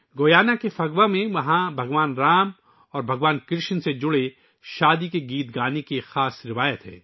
Guyana کے پھگوا میں بھگوان رام اور بھگوان کرشن سے منسلک شادی کے گیت گانے کی ایک خاص روایت ہے